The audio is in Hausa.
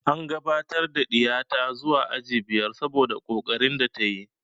An gabatar da ɗiya ta zuwa aji biyar saboda ƙoƙarin da ta yi